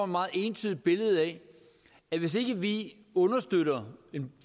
meget entydigt billede af at hvis ikke vi understøtter en